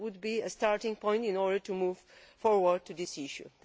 That would be a starting point in order to move forward on this issue.